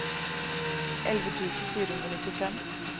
elleve tusen fire hundre og nittifem